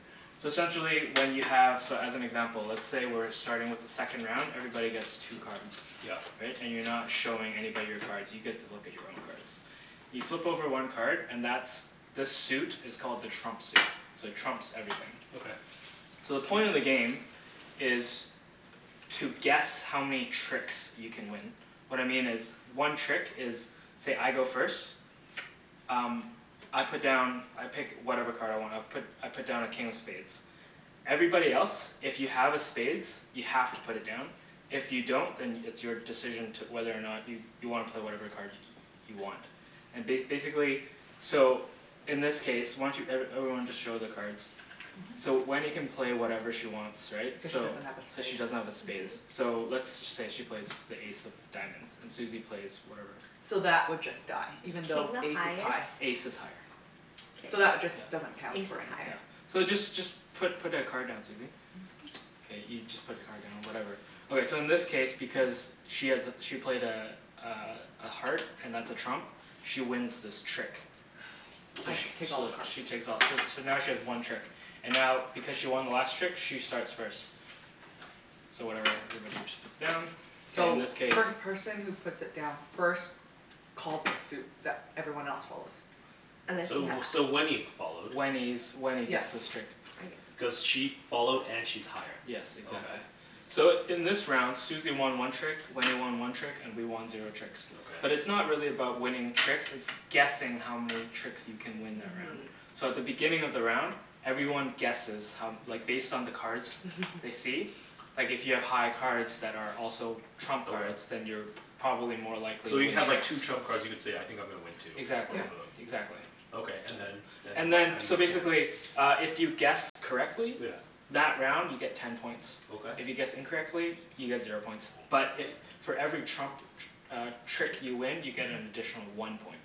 So essentially when you have, so as an example let's say we're starting with the second round, everybody gets two cards. Yep. Right? And you're not showing anybody your cards. You get to look at your own cards. You flip over one card and that's, the suit is called the trump suit, so it trumps everything. Okay. So the point of the game is to guess how many tricks you can win. What I mean is one trick is say, I go first, um I put down I pick whatever card I want, I put I put down a King of Spades. Everybody else if you have a spades, you have to put it down, if you don't then it's your decision to, whether or not you you wanna play whatever card you want. And ba- basically so in this case, why don't you, every everyone just show their cards. So Wenny can play whatever she wants right, Cuz she so. doesn't have a Cuz she spade. doesn't have a spades. So let's say she plays the ace of diamonds, and Susie plays whatever. So that would just die, Is even though king the Ace is high. highest? Ace is higher. So that would K. just, doesn't count Ace for is anything. higher. So just just put put a card down, Susie. K, you just put your card down whatever. Okay so in this case because she has a, she played a uh a heart and that's a trump, she wins this trick. I Okay. So take all the cards. she takes all too, so now she has one trick, and now because she won the last trick, she starts first. So whatever everybody just puts down, so in So this case first person who puts it down first calls a suit that everyone else follows. So, so Wenny followed. Wenny's, Wenny gets this trick. Cuz she followed and she's higher. Yes, exactly. Okay. So in this round Susie won one trick, Wenny won one trick and we won zero tricks. But it's Okay. not really about winning tricks, it's guessing how many tricks you can win that round. So at the beginning of the round, everyone guesses how, like based on the cards they see. Like if you have high cards that are also trump cards. Then Okay. you're p- probably more likely to So you win have like tricks. two trump cards, you could say, I think I'm gonna win two. Exactly. Both Yep. of them. Exactly. Okay, and then, then And what? then How do you so get points? basically uh if you guess correctly Yeah. That round you get ten points. Okay. If you guess incorrectly, you get zero points, but if for every trump tr- uh trick you win you get an additional one point.